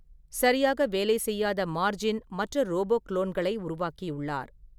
சரியாக வேலை செய்யாத மார்ஜின் மற்ற ரோபோ குளோன்களை உருவாக்கியுள்ளார்.